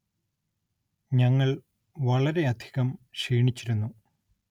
ഞങ്ങൾ വളരെയധികം ക്ഷീണിച്ചിരുന്നു